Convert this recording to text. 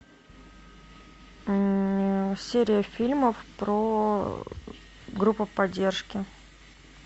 серия фильмов про группу поддержки